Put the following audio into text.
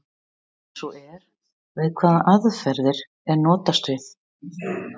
Ef svo er, við hvaða aðferðir er notast við?